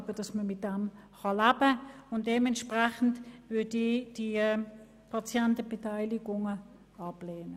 Dementsprechend lehne ich Planungserklärungen betreffend die Patientenbeteiligung ab.